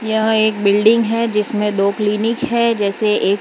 यह एक बिल्डिंग है जिसमें दो क्लीनिक है जैसे एक --